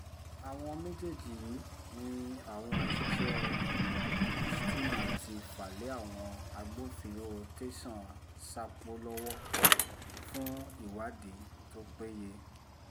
àwọn méjèèjì yìí ni àwọn òṣìṣẹ́ rstma ti fà lé àwọn agbófinró tẹ̀sán sápó lọ́wọ́ fún ìwádìí tó péye